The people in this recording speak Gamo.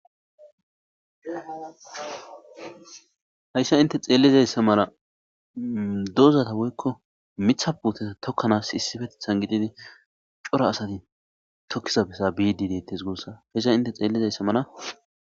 Hayssa inte xeellizayssa mala dozata woykko mitha puuteta tokkanaas issippetethan gididi cora asati tokkiza bessa biidi deettes guussa hessa inte xeellizayssa mala.